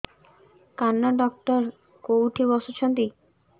କାନ ଡକ୍ଟର କୋଉଠି ବସୁଛନ୍ତି